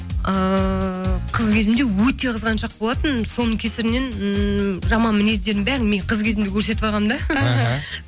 ыыы қыз кезімде өте қызғаншақ болатынмын соның кесірінен ыыы жаман мінездерімнің бәрін мен қыз кезімде көрсетіп алғанмын да іхі